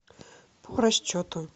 по расчету